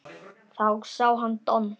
Þá sá hann Don